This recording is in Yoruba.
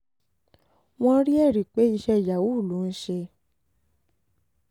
wọ́n rí ẹ̀rí pé iṣẹ́ yahoo ló ń ṣe